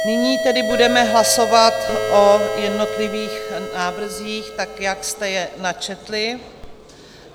Nyní tedy budeme hlasovat o jednotlivých návrzích tak, jak jste je načetli.